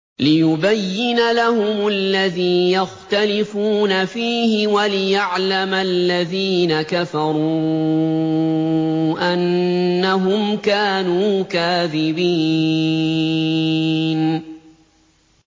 لِيُبَيِّنَ لَهُمُ الَّذِي يَخْتَلِفُونَ فِيهِ وَلِيَعْلَمَ الَّذِينَ كَفَرُوا أَنَّهُمْ كَانُوا كَاذِبِينَ